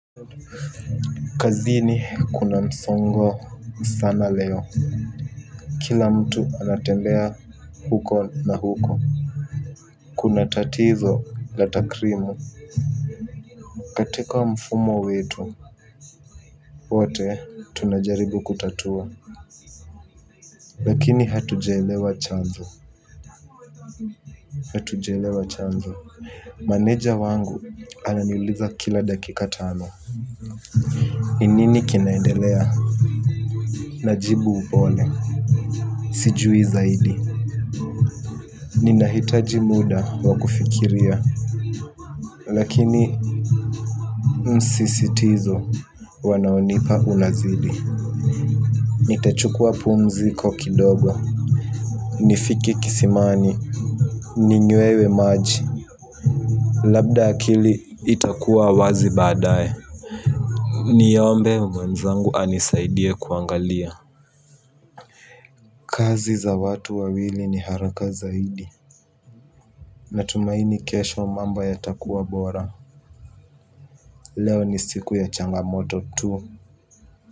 Kazini kuna msongo sana leo. Kila mtu anatembea huko na huko. Kuna tatizo la takrimu katika mfumo wetu. Wote tunajaribu kutatua. Lakini hatujaelewa chanzo. Hatujaelewa chanzo maneja wangu ananiuliza kila dakika tano. Ni nini kinaendelea. Najibu upole. Sijui zaidi. Ninahitaji muda wa kufikiria. Lakini msisitizo wanaonipa unazidi. Nitachukua pumuziko kidogo. Nifike kisimani. Ninywe maji. Labda akili itakuwa wazi baadaye. Niombe mwenzangu anisaidie kuangalia. Kazi za watu wawili ni haraka zaidi. Natumaini kesho mambo yatakuwa bora. Leo ni siku ya changamoto tu.